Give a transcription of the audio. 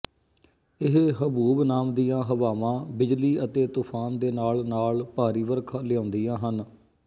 ਇਹ ਹਬੂਬ ਨਾਮ ਦੀਆਂ ਹਵਾਵਾਂ ਬਿਜਲੀ ਅਤੇ ਤੂਫਾਨ ਦੇ ਨਾਲ ਨਾਲ ਭਾਰੀ ਵਰਖਾ ਲਿਆਉਂਦੀਆਂ ਹਨ